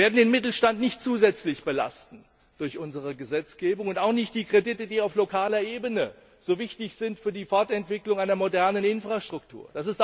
Wir werden den Mittelstand nicht zusätzlich belasten durch unsere Gesetzgebung und auch nicht die Kredite, die auf lokaler Ebene so wichtig sind für die Fortentwicklung einer modernen Infrastruktur.